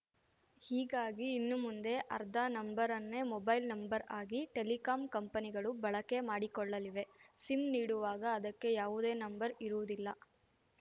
ಹೀಗಾಗಿ ಇನ್ನುಮುಂದೆ ಆರ್ಧಾ ನಂಬರ್‌ ಅನ್ನೇ ಮೊಬೈಲ್‌ ನಂಬರ್‌ ಆಗಿ ಟೆಲಿಕಾಂ ಕಂಪನಿಗಳು ಬಳಕೆ ಮಾಡಿಕೊಳ್ಳಲಿವೆ ಸಿಮ್‌ ನೀಡುವಾಗ ಅದಕ್ಕೆ ಯಾವುದೇ ನಂಬರ್‌ ಇರುವುದಿಲ್ಲ